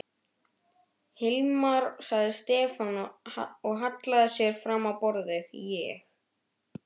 Hilmar, sagði Stefán og hallaði sér fram á borðið, ég.